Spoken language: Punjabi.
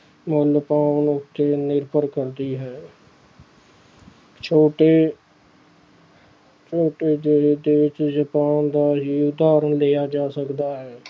ਮਨ ਭਾਉਣ ਉੱਤੇ ਨਿਰਭਰ ਕਰਦੀ ਹੈ ਛੋਟੇ ਜਪਾਨ ਦਾ ਹੀ ਉਦਾਹਰਨ ਲਇਆ ਜਾ ਸਕਦਾ ਹੈ।